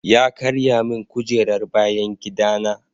Ya karya min kujerar bayan gida na.